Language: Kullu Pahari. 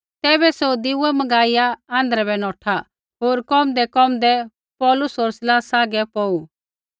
तैबै सौ दीऐ मँगाइया आँध्रै बै नौठा होर कोमदैकोमदै पौलुस होर सीलासा आगै धिरै पौड़ू